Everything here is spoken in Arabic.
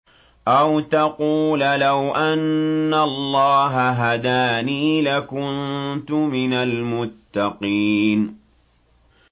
أَوْ تَقُولَ لَوْ أَنَّ اللَّهَ هَدَانِي لَكُنتُ مِنَ الْمُتَّقِينَ